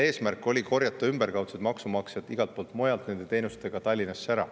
Eesmärk oli korjata selliste teenuste abil maksumaksjaid igalt poolt mujalt Tallinnasse kokku.